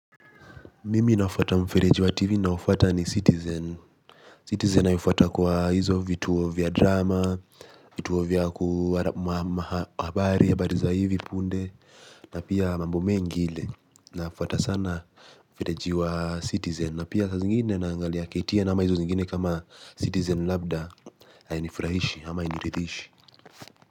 Mimi na fata mfereji wa TV na ninao ufuata ni Citizen Citizen naifata kwa hizo vitu vya drama vituo vya habari hivi punde na pia mambo me ngine, nafuata sana mfereji wa Citizen na pia sa zingine na angalia KTN na hama hizo zingine kama Citizen. Labda hainifrahishi ama hainirithishi.